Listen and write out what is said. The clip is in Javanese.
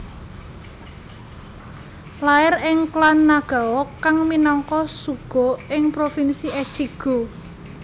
Lair ing klan Nagao kang minangka shugo ing provinsi Echigo